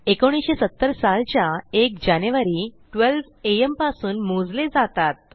1970सालच्या 1जानेवारी 12 amपासून मोजले जातात